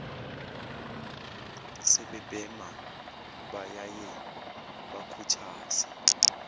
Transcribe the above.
sebebhema bayaye bakhuthaze